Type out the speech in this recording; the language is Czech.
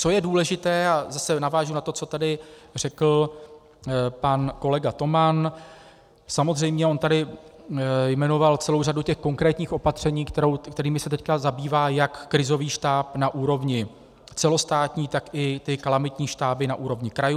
Co je důležité, a zase navážu na to, co tady řekl pan kolega Toman, samozřejmě, on tady jmenoval celou řadu těch konkrétních opatření, kterými se teď zabývá jak krizový štáb na úrovni celostátní, tak i ty kalamitní štáby na úrovni krajů.